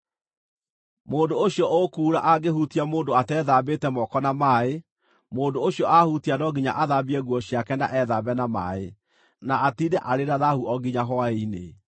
“ ‘Mũndũ ũcio ũkuura angĩhutia mũndũ atethambĩte moko na maaĩ, mũndũ ũcio ahutia no nginya athambie nguo ciake na ethambe na maaĩ, na atiinde arĩ na thaahu o nginya hwaĩ-inĩ.